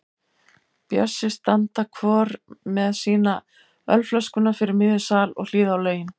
Bjössi standa hvor með sína ölflöskuna fyrir miðjum sal og hlýða á lögin.